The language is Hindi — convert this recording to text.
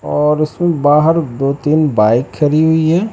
और उसमें बाहर दो तीन बाइक खड़ी हुई है।